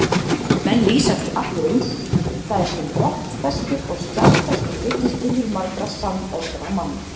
Menn lýsa því allir eins, það er til vottfestur og skjalfestur vitnisburður margra sannorðra manna.